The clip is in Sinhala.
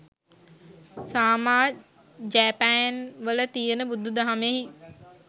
සාමා ජෑපෑන්වල තියෙන බුදු දහමෙයි